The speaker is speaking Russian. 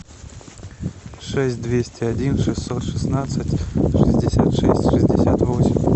шесть двести один шестьсот шестнадцать шестьдесят шесть шестьдесят восемь